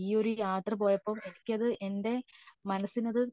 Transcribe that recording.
ഈ ഒരു യാത്ര പോയപ്പോ എനിക്ക് എന്റെ മനസിന് അത്